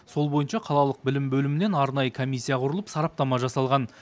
сол бойынша қалалық білім бөлімінен арнайы комиссия құрылып сараптама жасалған